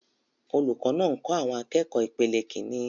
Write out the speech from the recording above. Olùkọ́ náà ń kọ́ àwọn akẹ́kọ̀ọ́ ìpele Kínní.